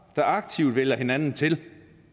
der aktivt vælger hinanden til